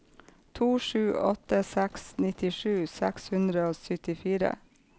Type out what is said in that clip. to sju åtte seks nittisju seks hundre og syttifire